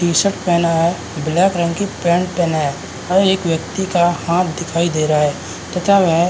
T-shirt पहना है black रंग की पेंट पहना है और एक व्यक्ति का हाथ दिखाई दे रहा है तथा वह --